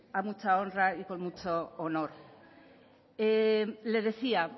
a mucha honra y con mucho honor le decía